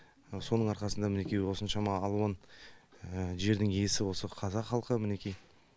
соның арқасында мінекей осыншама алуан жердің иесі осы қазақ халқы мінекей